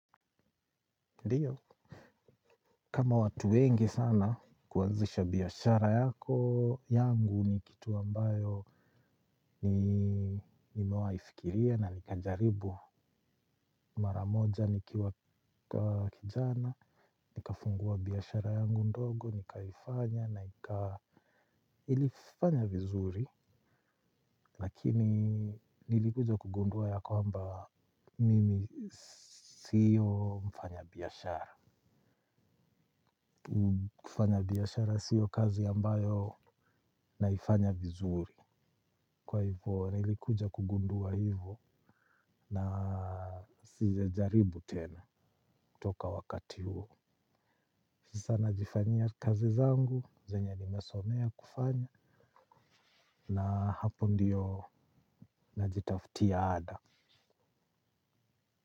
Kama watu wengi sana kuanzisha biashara yako yangu ni kitu ambayo nimewai fikiria na nikajaribu maramoja nikiwa kijana, nikafungua biashara yangu ndogo, nikaifanya na ilifanya vizuri. Lakini nilikuja kugunduwa ya kwamba mimi sio mfanya biashara. Kufanya biashara sio kazi ambayo naifanya vizuri. Kwa hivyo nilikuja kugunduwa hivyo na sija jaribu tena toka wakati huo. Sasa najifanya kazi zangu, zenye nimesomea kufanya. Na hapo ndiyo najitafutia ada.